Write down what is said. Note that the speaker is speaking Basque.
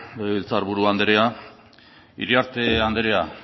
legebiltzarburu andrea iriarte andrea